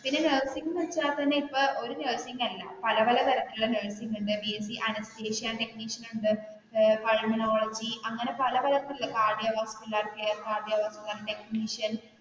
പിന്നെ നഴ്സിംഗ് എടുത്താൽ തന്നെ ഇപ്പൊ ഒരു നഴ്സിംഗ് അല്ലെ പല പല തരത്തിലുളള നഴ്സിംഗ് ഉണ്ട് ബിഎസ്സി അനസ്തേഷ്യ ടെക്നീഷ്യൻ ഉണ്ട് മിനോളജി അങ്ങനെ പല പല കാർഡിയോളജി